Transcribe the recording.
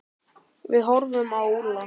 Við horfðum á Úlla.